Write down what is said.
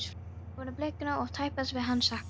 Þær vonir bliknuðu og var tæpast við hann að sakast.